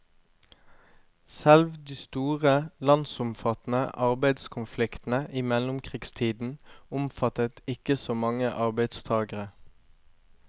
Selv de store, landsomfattende arbeidskonfliktene i mellomkrigstiden omfattet ikke så mange arbeidstagere.